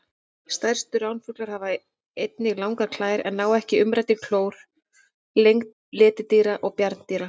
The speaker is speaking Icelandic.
Stærstu ránfuglar hafa einnig langar klær en ná ekki umræddri klór lengd letidýra og bjarndýra.